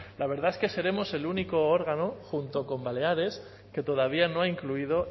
la verdad es que seremos el único órgano junto con baleares que todavía no ha incluido